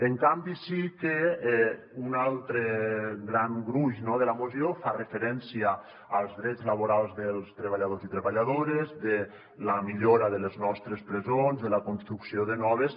en canvi sí que un altre gran gruix no de la moció fa referència als drets laborals dels treballadors i treballadores de la millora de les nostres presons de la construcció de noves